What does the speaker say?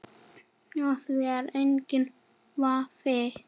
Á því er enginn vafi.